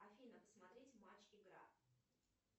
афина смотреть матч игра